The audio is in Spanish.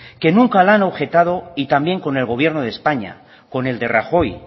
que nunca la han objetado y también con el gobierno de españa con el de rajoy